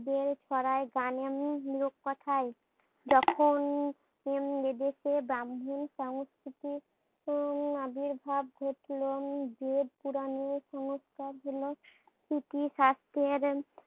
বের করে গানের উম গানের কথাই যখন উম এদেশে ব্রাম্মন সংস্কৃতি উম আবির্ভাব ঘটলো উম যে পুরানো সংস্কার হলো ইতি শাস্ত্রের